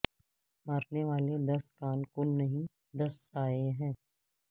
مرنے والے دس کان کن نہیں دس سائے ہیں